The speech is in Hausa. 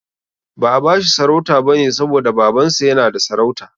Ba'a bashi sarauta bane saboda Babansa yana da sarauta.